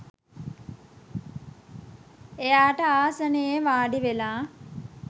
එයාට ආසනයේ වාඩිවෙලා